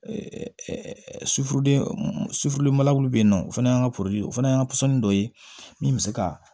bɛ yen nɔ o fana y'an ka poro ye o fana y'an ka pɔsɔni dɔ ye min bɛ se ka